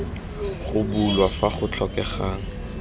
go bulwa fa go tlhokegang